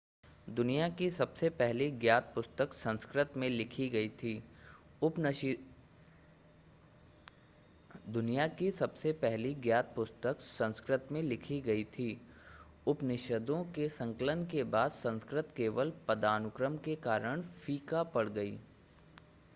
दुनिया की सबसे पहली ज्ञात पुस्तक संस्कृत में लिखी गई थी उपनिषदों के संकलन के बाद संस्कृत केवल पदानुक्रम के कारण फीका पड़ गयी